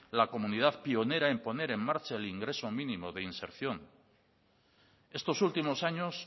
la comunidad pionera en poner en marcha el ingreso mínimo de inserción estos últimos años